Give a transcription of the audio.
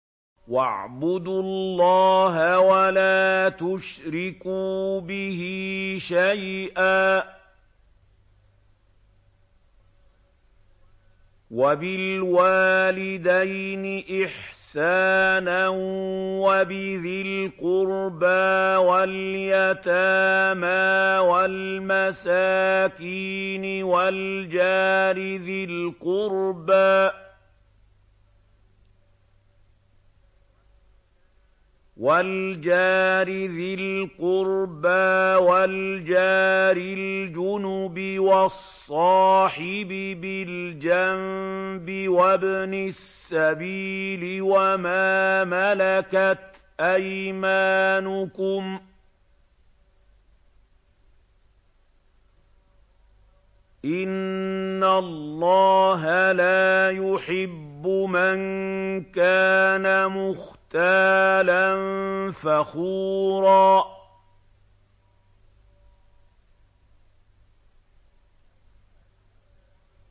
۞ وَاعْبُدُوا اللَّهَ وَلَا تُشْرِكُوا بِهِ شَيْئًا ۖ وَبِالْوَالِدَيْنِ إِحْسَانًا وَبِذِي الْقُرْبَىٰ وَالْيَتَامَىٰ وَالْمَسَاكِينِ وَالْجَارِ ذِي الْقُرْبَىٰ وَالْجَارِ الْجُنُبِ وَالصَّاحِبِ بِالْجَنبِ وَابْنِ السَّبِيلِ وَمَا مَلَكَتْ أَيْمَانُكُمْ ۗ إِنَّ اللَّهَ لَا يُحِبُّ مَن كَانَ مُخْتَالًا فَخُورًا